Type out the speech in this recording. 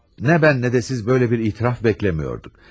Nə mən nə də siz böylə bir etiraf bəkləmiyorduk.